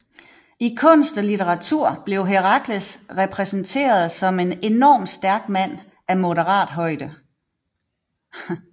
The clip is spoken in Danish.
I kunst og litteratur blev Herakles repræsenteret som en enormt stærk mand af moderat højde